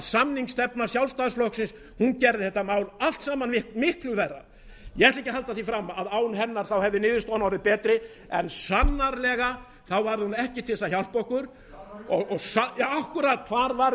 sjálfstæðisflokksins gerði þetta mál allt saman miklu verra á g ætla ekki að halda því fram að án hennar hefði niðurstaðan orðið betri en sannarlega var hún ekki til þess að hjálpa okkur akkúrat hvar var